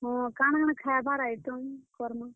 ହଁ, କାଣା-କାଣା ଖାଏବାର୍ item କର୍ ମା?